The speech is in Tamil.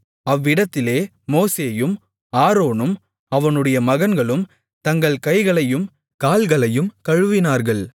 அவ்விடத்திலே மோசேயும் ஆரோனும் அவனுடைய மகன்களும் தங்கள் கைகளையும் கால்களையும் கழுவினார்கள்